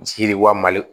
Jiri wali